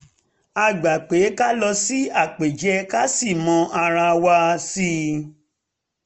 a gbà pé ká lọ sí àpèjẹ ká sì mọ ara wa sí i